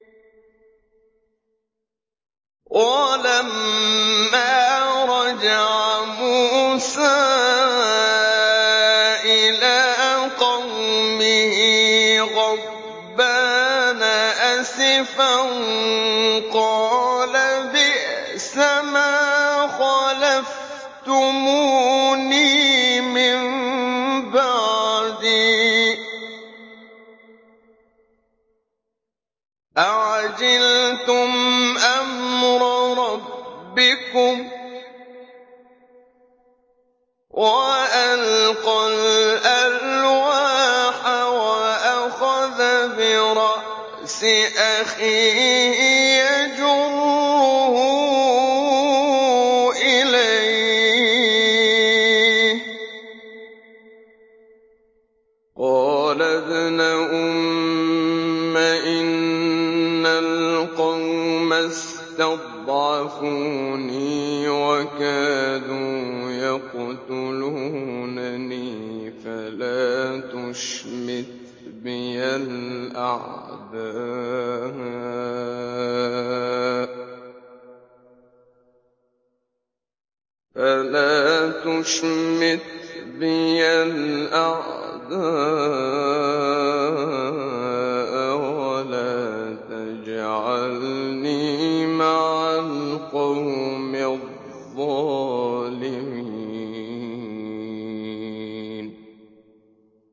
وَلَمَّا رَجَعَ مُوسَىٰ إِلَىٰ قَوْمِهِ غَضْبَانَ أَسِفًا قَالَ بِئْسَمَا خَلَفْتُمُونِي مِن بَعْدِي ۖ أَعَجِلْتُمْ أَمْرَ رَبِّكُمْ ۖ وَأَلْقَى الْأَلْوَاحَ وَأَخَذَ بِرَأْسِ أَخِيهِ يَجُرُّهُ إِلَيْهِ ۚ قَالَ ابْنَ أُمَّ إِنَّ الْقَوْمَ اسْتَضْعَفُونِي وَكَادُوا يَقْتُلُونَنِي فَلَا تُشْمِتْ بِيَ الْأَعْدَاءَ وَلَا تَجْعَلْنِي مَعَ الْقَوْمِ الظَّالِمِينَ